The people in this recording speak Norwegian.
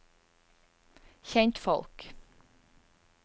kjentfolk